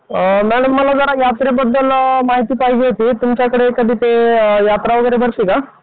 Madam मला जरा यात्रेबद्दल माहिती पाहिजे होती तुमच्याकडे कधी ते यात्रा वगैरे भरते का?